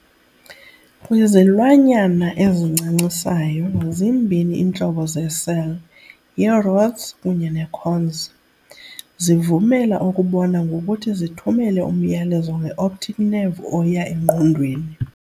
Kwizilwanyana ezincancisayo, zimbini iintlobo zeecell, yi"rods" kunye ne"cones", zivumela ukubona ngokuthi zithumele umyalezo ngeoptic nerve oya engqondweni.